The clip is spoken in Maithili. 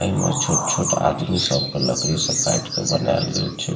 इमें छोट-छोट आदमी सब के लकड़ी से काट के बनाएल गेल छे।